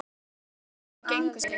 Uppá von og óvon gengu þeir